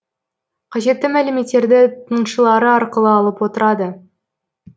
қажетті мәліметтерді тыңшылары арқылы алып отырады